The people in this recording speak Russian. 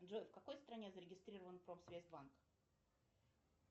джой в какой стране зарегистрирован промсвязьбанк